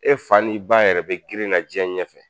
E fa n'i baa yɛrɛ bɛ girin na jen ɲɛfɛ